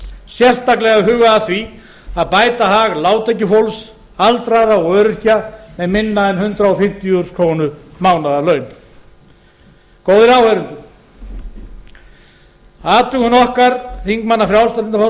sérstaklega hugað að því að bæta hag lágtekjufólks aldraðra og öryrkja með minna en hundrað fimmtíu þúsund krónur í mánaðarlaun góðir áheyrendur athugun okkar þingmanna frjálslynda